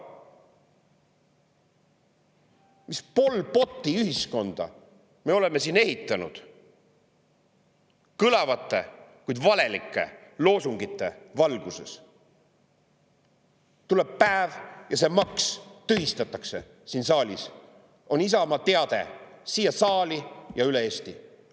Mis Pol Poti ühiskonda me oleme siin ehitanud kõlavate, kuid valelike loosungite valguses?! "Tuleb päev, ja see maks tühistatakse siin saalis!" on Isamaa teade siia saali ja üle Eesti.